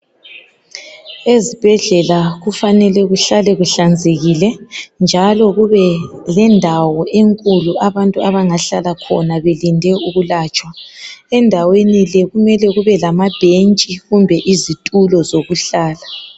Ezibhedlela kufanele kuhlale kuhlanzekile njalo kube lendawo enkulu abantu abangahlala khona belinde ukulatshwa endaweni le kumele kube lamabhentshi kumbe indawo zokuhlala